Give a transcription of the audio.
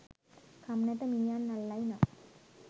කම් නැත මීයන් අල්ලයි නම්”